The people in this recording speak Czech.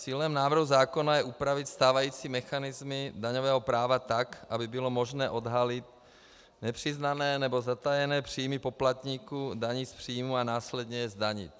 Cílem návrhu zákona je upravit stávající mechanismy daňového práva tak, aby bylo možné odhalit nepřiznané nebo zatajené příjmy poplatníků daní z příjmů a následně je zdanit.